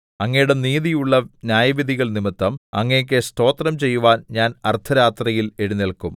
അങ്ങയുടെ നീതിയുള്ള ന്യായവിധികൾനിമിത്തം അങ്ങേക്കു സ്തോത്രം ചെയ്യുവാൻ ഞാൻ അർദ്ധരാത്രിയിൽ എഴുന്നേല്ക്കും